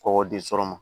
Kɔkɔ di sɔrɔ ma